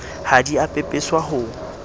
ha di a pepeswa ho